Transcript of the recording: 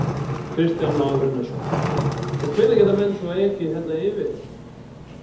Kristján Már Unnarsson: Og hvenær geta menn svo ekið hérna yfir?